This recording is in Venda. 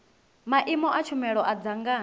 maimo a tshumelo a dzangano